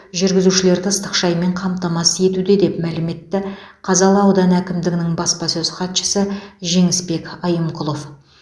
жүргізушілерді ыстық шаймен қамтамасыз етуде деп мәлім етті қазалы ауданы әкімдігінің баспасөз хатшысы жеңісбек айымқұлов